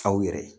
Aw yɛrɛ